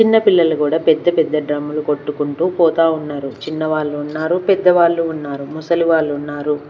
చిన్నపిల్లలు కూడా పెద్ద పెద్ద డ్రమ్ములు కొట్టుకుంటూ పోతా ఉన్నారు చిన్న వాళ్ళు ఉన్నారు పెద్దవాళ్ళు ఉన్నారు ముసలి వాళ్లు ఉన్నారు.